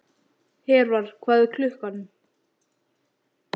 Hervar, hvað er klukkan?